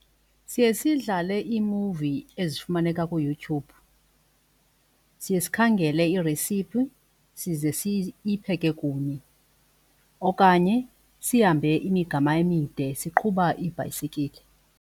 Siye sidlale iimuvi ezifumaneka kuYouTube, siye sikhangele iiresiphi size siyipheke kunye okanye sihambe imigama emide siqhuba iibhayisikile.